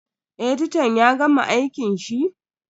Editan ya gama aikin shi?